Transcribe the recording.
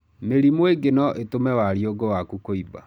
Mĩrimũ ĩngĩ no ĩtũme wariũngũ waku kũimba.